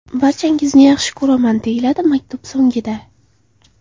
Barchangizni yaxshi ko‘raman!” deyiladi maktub so‘ngida.